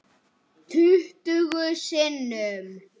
Tuttugu sinnum.